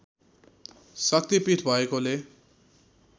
शक्ति पीठ भएकोले